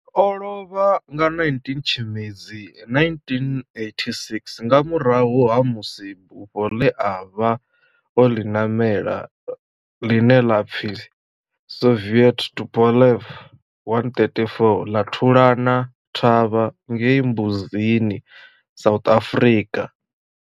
O lovha nga 19 Tshimedzi 1986 nga murahu ha musi bufho le a vha o li namela, line la pfi Soviet Tupolev 134 la thulana thavha ngei Mbuzini, South Africa.